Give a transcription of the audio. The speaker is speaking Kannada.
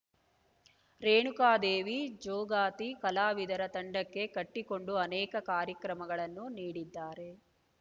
ರೇಣುಕಾದೇವಿ ಜೋಗತಿ ಕಲಾವಿದರ ತಂಡ ಕಟ್ಟಿಕೊಂಡು ಅನೇಕ ಕಾರ್ಯಕ್ರಮಗಳನ್ನು ನೀಡಿದ್ದಾರೆ